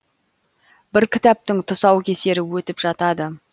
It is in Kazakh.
бір кітаптың тұсаукесері өтіп жатады